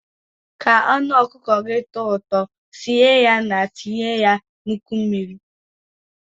Ka anụ ọkụkọ tọọ ụtọ, sie ya na-etinye ya nnukwu mmiri.